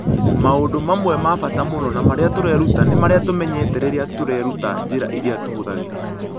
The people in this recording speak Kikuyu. Maũndũ mamwe ma bata mũno na marĩa tũreruta nĩ marĩa tũmenyete rĩrĩa tũreruta njĩra iria tũhũthagĩra.